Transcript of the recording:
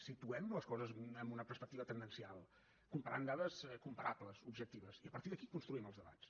situem les coses en una perspectiva tendencial comparant dades comparables objectives i a partir d’aquí construïm els debats